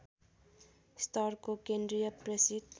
स्तरको केन्द्रीय प्रेसित